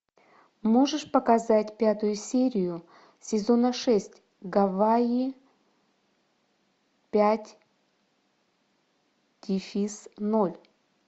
можешь показать пятую серию сезона шесть гавайи пять дефис ноль